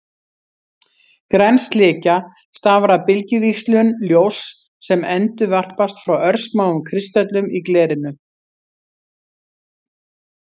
Græn slikja stafar af bylgjuvíxlum ljóss sem endurvarpast frá örsmáum kristöllum í glerinu.